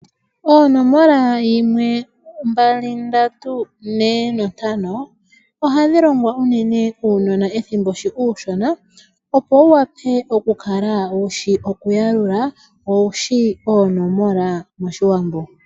Oonomola yimwe, mbali, ndatu, nee, nontano, ohadhi longwa unene uunona ethimbo shi uushona, opo wuwape okukala wushi okuyalula, wo owushi oonomola moshiwambo